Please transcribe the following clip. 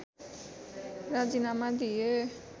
राजिनामा दिए